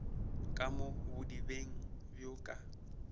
ka mo bodibeng bjo ka